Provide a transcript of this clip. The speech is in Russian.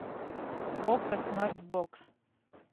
окко смарт бокс